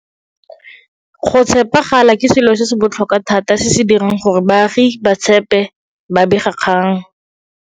Go tshepagala ke selo se se botlhokwa thata se se dirang gore baagi ba tshepe babegakgang.